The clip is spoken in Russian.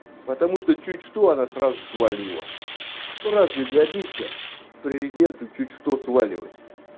потому что чуть что она сразу свалила ну разве годится президенту чуть что сваливать